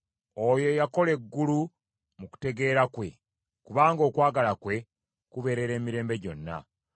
Oyo eyakola eggulu mu kutegeera kwe, kubanga okwagala kwe kubeerera emirembe gyonna.